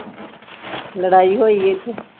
ਲੜਾਈ ਹੋਈ ਇੱਥੇ।